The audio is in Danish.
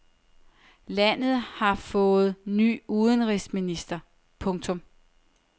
Landet har fået ny udenrigsminister. punktum